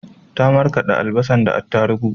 Ta marƙade albasan da atarubu